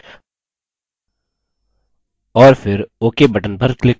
और फिर ok button पर click करें